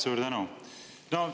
Suur tänu!